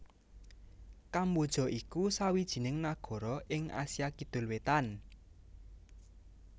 Kamboja iku sawijining nagara ing Asia Kidul Wétan